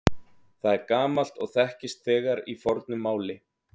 Það er gamalt og þekkist þegar í fornu máli.